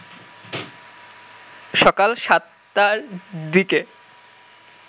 সকাল ৭টার দিকে